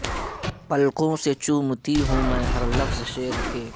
پلکوں سے چومتی ہوں میں ہر لفظ شعر کے